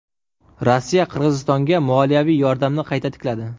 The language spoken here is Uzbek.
Rossiya Qirg‘izistonga moliyaviy yordamni qayta tikladi.